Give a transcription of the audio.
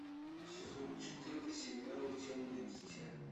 сезон четыре сериала темное дитя